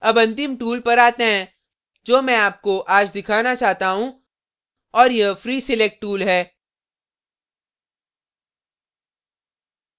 अब अंतिम tool पर आते हैं जो मैं आपको आज दिखाना चाहता हूँ और यह free select tool है